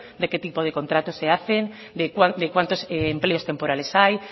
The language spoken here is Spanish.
de qué tipo de contratos se hacen de cuántos empleos temporales hay